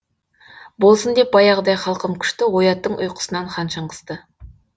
болсын деп баяғыдай халқым күшті ояттың ұйқысынан хан шыңғысты